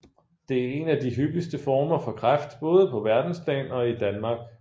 Det er en af de hyppigste former for kræft både på verdensplan og i Danmark